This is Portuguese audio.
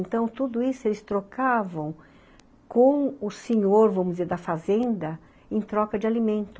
Então, tudo isso eles trocavam com o senhor, vamos dizer, da fazenda, em troca de alimento.